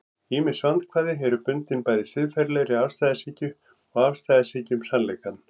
ýmis vandkvæði eru bundin bæði siðferðilegri afstæðishyggju og afstæðishyggju um sannleikann